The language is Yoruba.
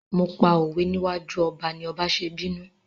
Mo pa òwe níwájú ọba ni ọba ṣe bínú.